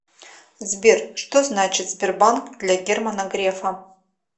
сбер что значит сбербанк для германа грефа